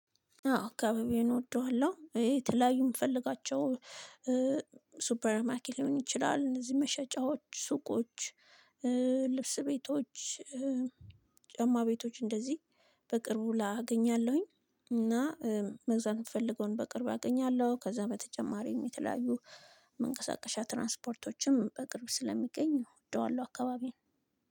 አዎ አካባቤን እወደዋለሁ። ይሄ የተለያዩ ምፈልጋቸው እ ሱፐር ማርኬት ሊሆን ይችላል። እነዚህ መሸጫዎች ሱቆች እእ ልብስ ቤቶች እ ጫማ ቤቶች እንደዚህ። በቅርቡ ላአገኛለሁኝ እና እ መግዛት ምትፈልገውን በቅርብ አገኛለሁ። ከዛ በተጨማሪም የተለያዩ መንቀሳቀሻ ትራንስፖርቶችም በቅርብ ስለሚገኝ እወደዋለሁ አካባቢየን